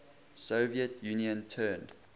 soviet union turned